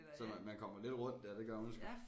Så man man kommer lidt rundt dér det gør man sgu